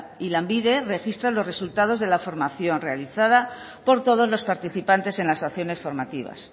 y lanbide registra los resultados de la formación realizada por todos los participantes en las acciones formativas